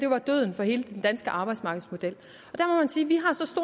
var døden for hele den danske arbejdsmarkedsmodel